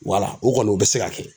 Wala o kɔni o bɛ se ka kɛ.